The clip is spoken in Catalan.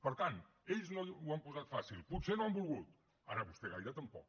per tant ells no ho han posat fàcil potser no han volgut ara vostè gaire tampoc